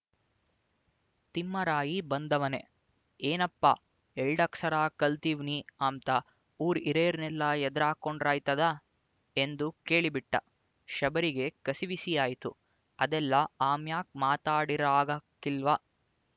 ತಿಮ್ಮರಾಯಿ ಬಂದವನೇ ಏನಪ್ಪ ಎಲ್ಡಕ್ಸರ ಕಲ್ತಿವ್ನಿ ಅಂಬ್ತ ಊರ್ ಇರೇರ್‍ನೆಲ್ಲ ಎದ್ರಾಕ್ಕಂಡ್ರೆ ಆಯ್ತದ ಎಂದು ಕೇಳಿಬಿಟ್ಟ ಶಬರಿಗೆ ಕಸಿವಿಸಿಯಾಯ್ತು ಅದೆಲ್ಲ ಆಮ್ಯಾಕ್ ಮಾತಾಡಿರಾಗಾಕಿಲ್ವ